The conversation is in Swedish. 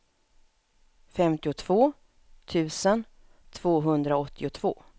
femtiotvå tusen tvåhundraåttiotvå